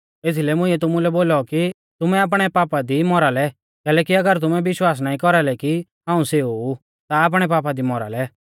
एथीलै मुंइऐ तुमुलै बोलौ कि तुमै आपणै पापा दी मौरा लै कैलैकि अगर तुमै विश्वास नाईं कौरालै कि हाऊं सेऊ ऊ ता आपणै पापा दी मौरा लै